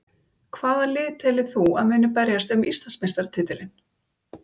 Hvaða lið telur þú að muni berjast um Íslandsmeistaratitilinn?